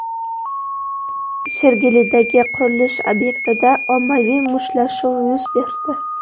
Sergelidagi qurilish obyektida ommaviy mushtlashuv yuz berdi .